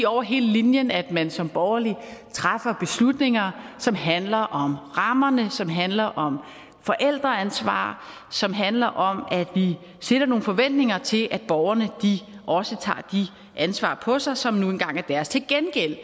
over hele linjen at man som borgerlig træffer beslutninger som handler om rammerne som handler om forældreansvar som handler om at vi stiller nogle forventninger til at borgerne også tager det ansvar på sig som nu engang er deres til gengæld